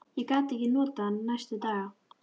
Ég gat ekkert notað hann næstu daga.